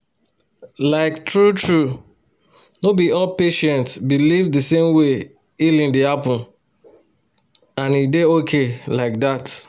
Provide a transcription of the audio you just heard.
like true-true no be all patients believe the same way healing dey happen — and e dey okay like that